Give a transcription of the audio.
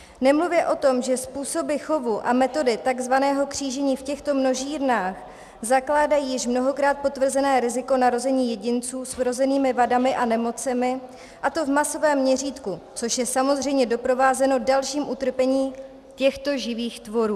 Nemluvě o tom, že způsoby chovu a metody tzv. křížení v těchto množírnách zakládají již mnohokrát potvrzené riziko narození jedinců s vrozenými vadami a nemocemi, a to v masovém měřítku, což je samozřejmě doprovázeno dalším utrpením těchto živých tvorů.